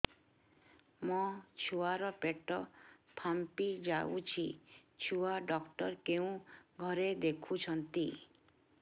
ମୋ ଛୁଆ ର ପେଟ ଫାମ୍ପି ଯାଉଛି ଛୁଆ ଡକ୍ଟର କେଉଁ ଘରେ ଦେଖୁ ଛନ୍ତି